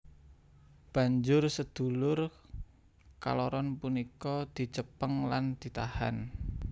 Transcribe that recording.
Banjur sedulur kaloron punika dicepeng lan ditahan